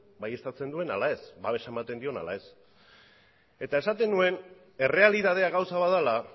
baieztatzen duen ala ez babesa ematen dion ala ez eta esaten nuen errealitatea gauza bat dela